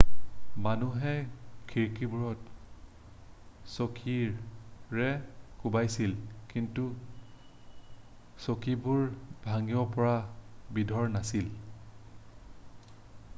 মানুহে খিৰিকিবোৰত চকীৰে কোবাইছিল কিন্তু চকীবোৰ ভাঙিব পৰা বিধৰ নাছিল